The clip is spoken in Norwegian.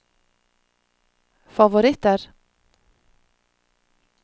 favoritter